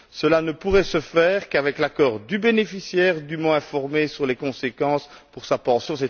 Cela ne pourrait se faire qu'avec l'accord du bénéficiaire, dûment informé sur les conséquences pour sa pension.